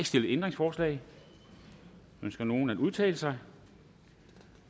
stillet ændringsforslag ønsker nogen at udtale sig